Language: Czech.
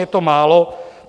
Je to málo?